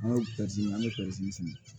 An ye an bɛ sɛnɛ